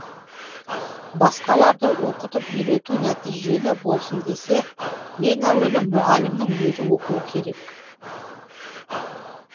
басқаларды оқытып үйретуі нәтижелі болсын десе ең әуелі мұғалімнің өзі оқуы керек